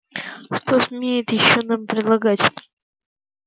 что смеет ещё нам предлагать